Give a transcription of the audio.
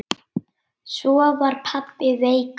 Svo var pabbi veikur.